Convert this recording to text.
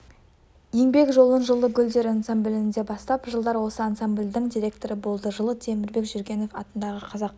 еңбек жолын жылы гүлдер ансамблінде бастап жылдары осы ансамбльдің директоры болды жылы темірбек жүргенов атындағы қазақ